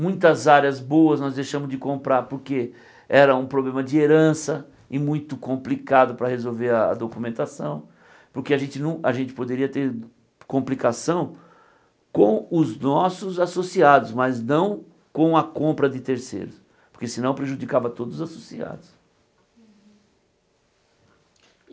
Muitas áreas boas nós deixamos de comprar porque era um problema de herança e muito complicado para resolver a documentação, porque a gente não a gente poderia ter complicação com os nossos associados, mas não com a compra de terceiros, porque senão prejudicava todos os associados.